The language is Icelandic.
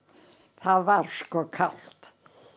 það var sko kalt